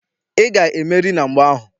Ị ga-emeri na mgba ahụ!